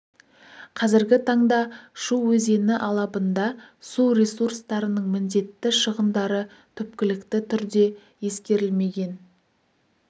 қазіргі таңда шу өзені алабында су ресурстарының міндетті шығындары түпкілікті түрде ескерілмеген